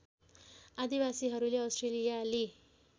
आदिवासीहरूले अस्ट्रेलियाली